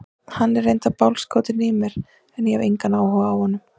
Hann er reyndar bálskotinn í mér en ég hef engan áhuga á honum.